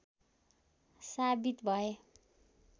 साबित भए